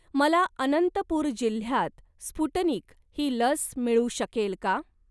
मला अनंतपुर जिल्ह्यात स्पुटनिक ही लस मिळू शकेल का?